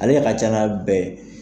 Ale ka ca n'a bɛɛ ye.